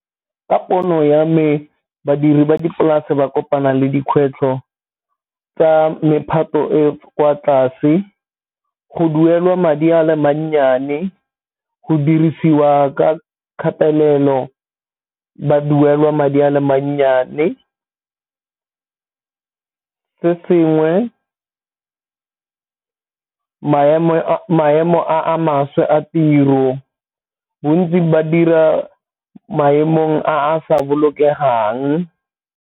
Ka pono ya me badiri ba dipolase ba kopana le dikgwetlho tsa mephato e kwa tlase, go duelwa madi a mannyane, go dirisiwa ka kgatelelo ba duelwa madi a leng mannyane, se sengwe maemo a maswe a tiro, bontsi ba dira maemong a a sa bolokelang.